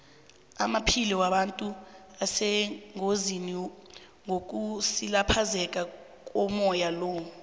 amaphilo wabantu asengozini ngokusilaphazeka komoya lo